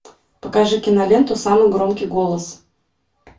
покажи киноленту самый громкий голос